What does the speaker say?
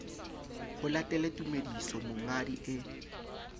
ho latele tumediso monghadi e